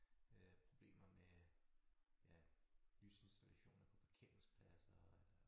Øh problemer med ja lysinstallationer på parkeringspladser